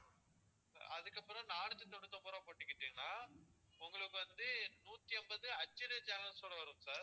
அதுக்கப்பறம் நானூத்தி தொண்ணூத்தி ஒன்பது ரூபாய்க்கு போட்டுக்கிட்டீங்கன்னா உங்களுக்கு வந்து நூத்தி ஐம்பது HD channels ஓட வரும் sir